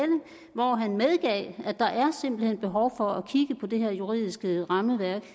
hvor han medgav at der er simpelt hen behov for at kigge på det her juridiske rammeværk